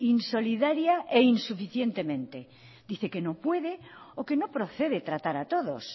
insolidaria e insuficientemente dice que no puede o que no procede tratar a todos